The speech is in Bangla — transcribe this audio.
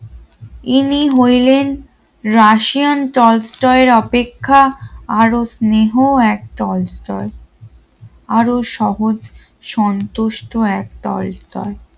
ইনি হইলেন রাশিয়ান টলস্টয় এর অপেক্ষা আরো স্নেহ এক টলস্টয় আরো সহজ সন্তুষ্ট একতল